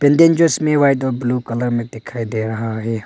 White और blue colour में दिखाई दे रहा है।